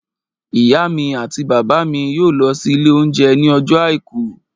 Ìyá mi àti bàbá mi yóò lọ sí ilé oúnjẹ ní ọjọ́ àìkú